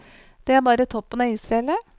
Det er bare toppen av isfjellet.